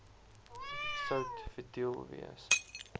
sout futiel wees